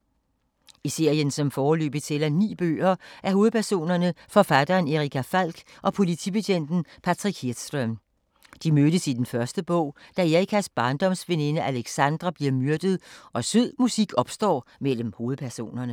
I serien, som foreløbig tæller ni bøger, er hovedpersonerne forfatteren Erica Falck og politibetjenten Patrick Hedström. De mødes i den første bog, da Ericas barndomsveninde Alexandra bliver myrdet og sød musik opstår mellem hovedpersonerne.